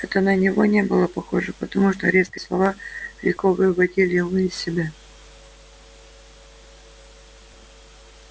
это на него не было похоже потому что резкие слова легко выводили его из себя